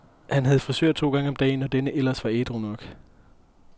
Han havde frisør to gange om dagen, når denne ellers var ædru nok.